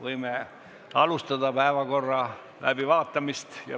Võime alustada päevakorra läbivaatamist.